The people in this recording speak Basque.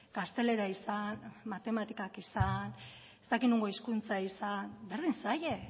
gaztelera izan matematikak izan ez dakit nongo hizkuntza izan berdin zaie